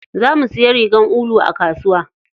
Zamu siya rigar ulu a kasuwa.